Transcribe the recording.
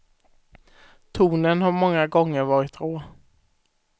Tonen har många gånger varit rå.